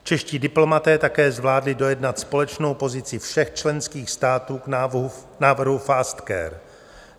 Čeští diplomaté také zvládli dojednat společnou pozici všech členských států k návrhu FAST-CARE.